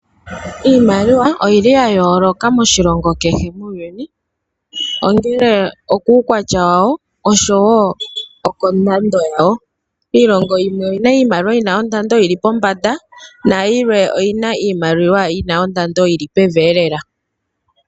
Iimanawa oyili ya yooloka moshilongo kehe muuyuni ongelw okuukwatya wayo oshowo kondando yawo. Iilongo yimwe oyina iimaliwa yina ondando yili pombanda nayimwe oyina ondando yili pevi lela.